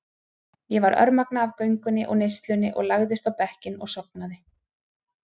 Ég var örmagna af göngunni og neyslunni og lagðist á bekkinn og sofnaði.